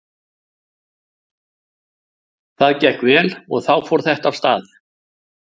Það gekk vel og þá fór þetta af stað.